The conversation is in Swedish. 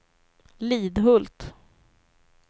Lidhult